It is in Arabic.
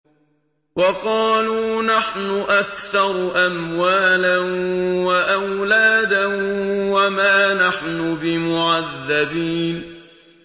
وَقَالُوا نَحْنُ أَكْثَرُ أَمْوَالًا وَأَوْلَادًا وَمَا نَحْنُ بِمُعَذَّبِينَ